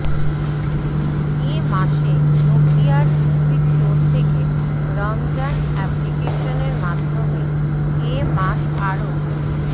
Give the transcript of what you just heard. এ মাসে নকিয়ার Ovi store থেকে রমজান অ্যাপ্লিকেশনের মাধ্যমে এ মাস আরও